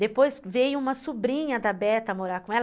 Depois veio uma sobrinha da Beta morar com ela.